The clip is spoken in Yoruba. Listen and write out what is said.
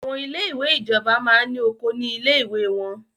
Àwọn ilé ìwé ìjọba máa ní oko ní ilé ìwé wọ́n.